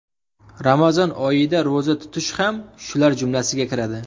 Ramazon oyida ro‘za tutish ham shular jumlasiga kiradi.